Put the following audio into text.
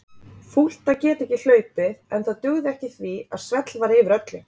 Fúlt að geta ekki hlaupið en það dugði ekki því að svell var yfir öllu.